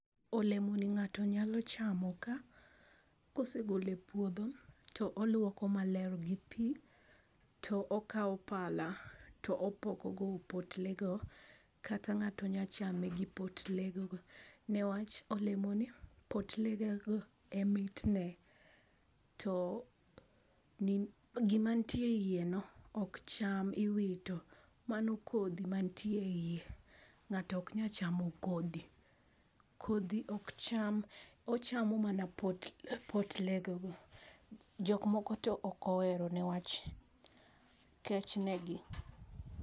Olemoni ng'ato nyalo chamo ka, kosegolo e puodho to olwoko maler gi pi to okawo pala to opoko go opotlego kata ng'ato nyachame gi potlegego niwach olemoni potlegego e mitne to gimanitie iye no ok cham. Iwito. Mano kodhi mantie e iye. Ng'ato ok nyal chamo kodhi. Kodhi ok cham. Ochamo mana potlegego. Jok moko to ok ohero newach kech negi.